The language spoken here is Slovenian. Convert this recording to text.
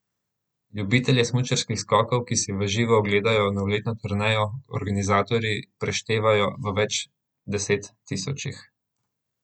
Ljubitelje smučarskih skokov, ki si v živo ogledajo novoletno turnejo, organizatorji preštevajo v več deset tisočih.